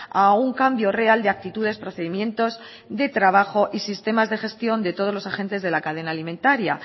a un cambio real de actitudes procedimientos de trabajo y sistemas de gestión de todos los agentes de la cadena alimentaria